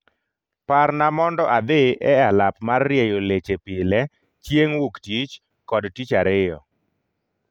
Parna mondo adhi e alap mar rieyo lechepile chieng' wuktich kod tich ariyo